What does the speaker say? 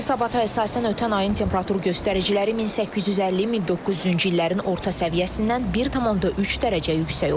Hesabata əsasən ötən ayın temperatur göstəriciləri 1850-1900-cü illərin orta səviyyəsindən 1,3 dərəcə yüksək olub.